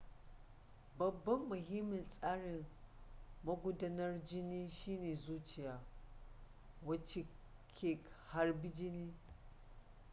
babban mahimmin tsarin magudanar jini shine zuciya wacce ke harba jini